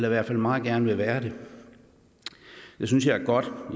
i hvert fald meget gerne være det det synes jeg er godt